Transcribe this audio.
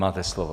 Máte slovo.